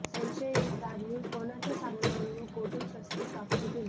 संशयितांनी कोणाच्या सांगण्यावरून व कोठून शस्त्रे प्राप्त केली